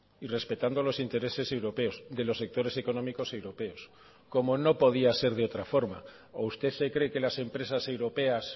y respetando los intereses europeos de los sectores económicos europeos como no podía ser de otra forma o usted se cree que las empresas europeas